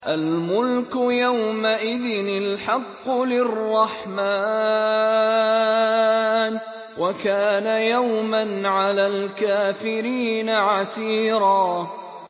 الْمُلْكُ يَوْمَئِذٍ الْحَقُّ لِلرَّحْمَٰنِ ۚ وَكَانَ يَوْمًا عَلَى الْكَافِرِينَ عَسِيرًا